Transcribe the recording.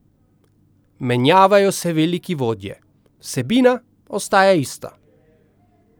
Menjavajo se veliki vodje, vsebina ostaja ista.